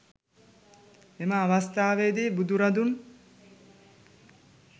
එම අවස්ථාවේදි බුදුරදුන්